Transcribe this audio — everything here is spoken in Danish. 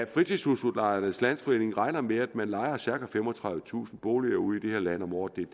fritidshusudlejernes landsforening regner med at man lejer cirka femogtredivetusind boliger ud i det her land om året det